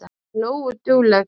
Ekki nógu dugleg.